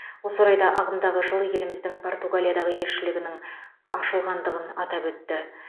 осы орайда ағымдағы жылы еліміздің португалиядағы елшілігінің ашылғандығын атап өтті